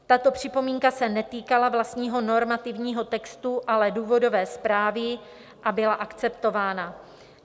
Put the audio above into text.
Tato připomínka se netýkala vlastního normativního textu, ale důvodové zprávy, a byla akceptována.